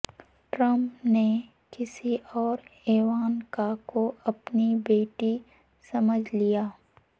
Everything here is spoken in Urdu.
ٹرمپ نے کسی اور ایوانکا کو اپنی بیٹی سمجھ لیا